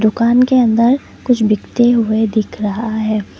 दुकान के अंदर कुछ बिकते हुए दिख रहा है ।